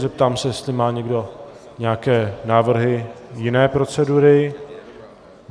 Zeptám se, jestli má někdo nějaké návrhy jiné procedury.